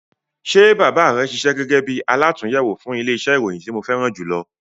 Ṣe bàbá rẹ ṣiṣẹ́ gẹgẹ bí alàtúnyẹwò fún ilẹ iṣẹ oníròyìn ti mo fẹràn julọ?